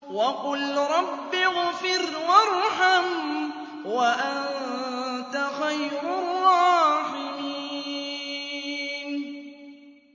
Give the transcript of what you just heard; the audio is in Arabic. وَقُل رَّبِّ اغْفِرْ وَارْحَمْ وَأَنتَ خَيْرُ الرَّاحِمِينَ